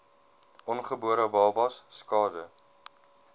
ongebore babas skade